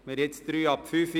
Es ist jetzt 17.03 Uhr.